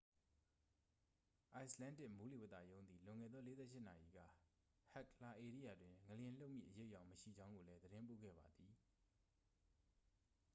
icelandic မိုးလေဝသရုံးသည် လွန်ခဲ့သော 48 နာရီက hekla ဧရိယာတွင် ငလျင်လှုပ်မည့်အရိပ်အယောင်မရှိကြောင်းကိုလည်း သတင်းပို့ခဲ့ပါသည်